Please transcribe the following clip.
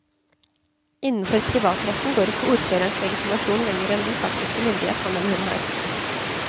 Innenfor privatretten går ikke ordførerens legitimasjon lenger enn den faktiske myndighet han eller hun har.